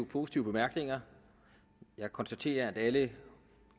positive bemærkninger jeg konstaterer at alle de